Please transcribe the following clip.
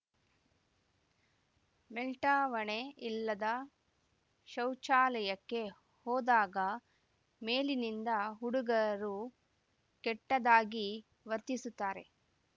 ಮೇಲ್ಟಾವಣೆ ಇಲ್ಲದ ಶೌಚಾಲಯಕ್ಕೆ ಹೋದಾಗ ಮೇಲಿನಿಂದ ಹುಡುಗರು ಕೆಟ್ಟದಾಗಿ ವರ್ತಿಸುತ್ತಾರೆ